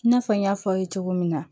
I n'a fɔ n y'a fɔ aw ye cogo min na